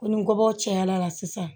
Ko ni kɔbɔw cayala sisan